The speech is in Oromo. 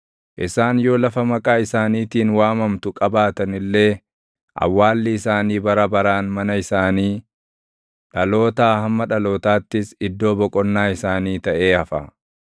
Isaan yoo lafa maqaa isaaniitiin waamamtu qabaatan illee, awwaalli isaanii bara baraan mana isaanii, dhalootaa hamma dhalootaattis iddoo boqonnaa isaanii taʼee hafa.